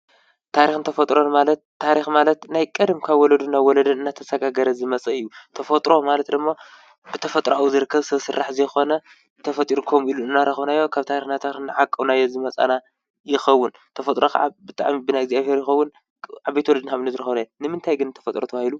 ታሪክን ተፈጥሮ ማለት ታሪክን ማለት ካብ ቀደም ካብ ወለዶ ናብ ወለዶ እናተሰጋገረ ዝመፀ እዩ። ተፈጥሮ ድማ ካብ ተፈጥራዊ ዝርከብ ሰብ ስራሕ ዘይኮነ ብተፈጥሩ ከምኡ ኢሊ እናረኪብናዮ ካብ ታሪክ ናብ ታሪክ እናዓቀብናዮ ዝመፃና ይከውን። ተፈጥሮ ከዓ ብጣዕሚ ብናይ እግዝኣብሄር ይከውን ካብ ዓበይቲ ወለድና ዝረከብናዮ። ንምንታይ እዩ ግን ተፈጥሮ ተባሂሉ?